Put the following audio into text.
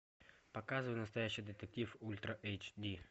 показывай настоящий детектив ультра эйч ди